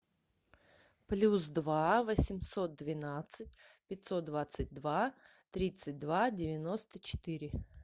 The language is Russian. плюс два восемьсот двенадцать пятьсот двадцать два тридцать два девяносто четыре